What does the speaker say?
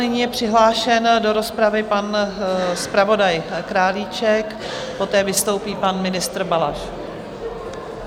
Nyní je přihlášen do rozpravy pan zpravodaj Králíček, poté vystoupí pan ministr Balaš.